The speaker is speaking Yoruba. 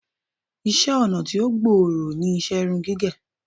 Iṣẹ́-ọnà tí ó gbòòrò ní iṣẹ́ irun gígẹ̀.